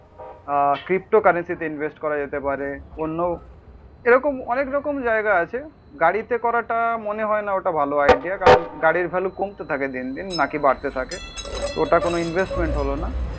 আহ crypto কারেন্সিতে invest করা যেতে পারে, অন্য এরকম অনেকরকম জায়গা আছে। গাড়িতে করাটা ওটা মনে হয়না ভালো আইডিয়া কারণ গাড়ির ভ্যালু কমতে থাকে দিন দিন নাকি বাড়তে থাকে, ওটা কোন ইনভেস্টমেন্ট হলো না।